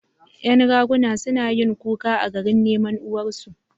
Ƴan raguna- suna yin kuka a garin neman uwar su